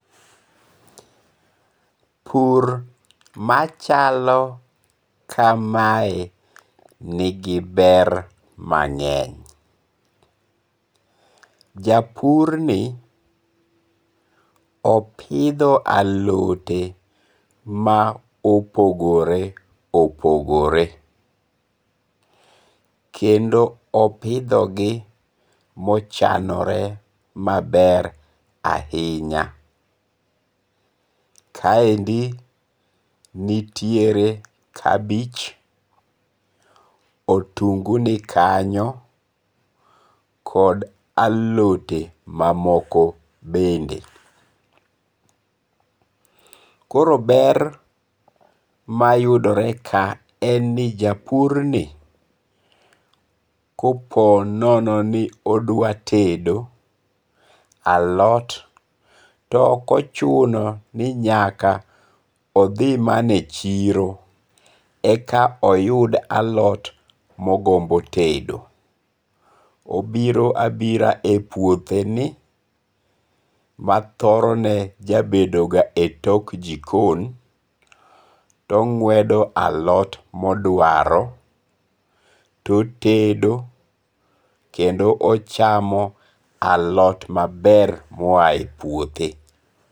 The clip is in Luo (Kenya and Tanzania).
Pur machalo kamae, nigi ber mange'ny, japurni opitho alote ma opogore opogore, kendo opithogi ma ochanore maber ahinya, kaendi nitiere kabich, otungu nikanyo kod alote mamoko bende, koro ber mayudore ka eni japurni koponono ni odwa tedo alot to okochuno ni nyaka othi mana e chiro eka oyud alot mogombo tedo obiro abira e puotheni ma thorone jabedoga e tok jikon to nge'wedo alot moduaro totedo kendo ochamo alot maber moyae e puothe